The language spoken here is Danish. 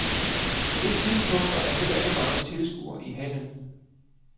På det tidspunkt var der heller ikke mange tilskuere i hallen.